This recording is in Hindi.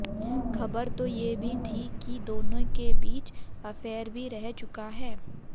खबर तो ये भी थी कि दोनों के बीच अफेयर भी रह चुका है